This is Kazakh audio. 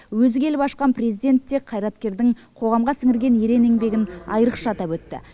өзі келіп ашқан президент те қайраткердің қоғамға сіңірген ерен еңбегін айрықша атап өтті